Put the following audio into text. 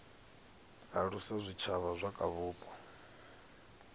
alusa zwitshavha zwa kha vhupo